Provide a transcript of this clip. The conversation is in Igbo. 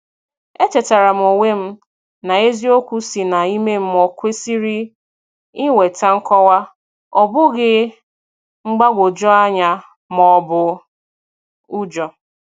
E chetara m onwe m na eziokwu si na ime mmụọ kwesịrị ị weta nkọwa, ọ bụghị mgbagwoju anya ma ọbụ ụjọ